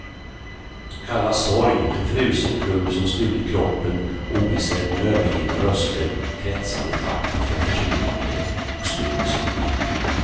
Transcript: Kallas sorg, en frusen klump som stulit kroppen obesedd med övergivna röster kretsande i schaktet för försvinnande och stum musik.